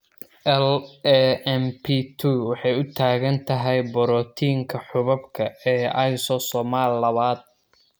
LAMP2 waxay u taagan tahay borotiinka xuubabka ee lysosomal lawad.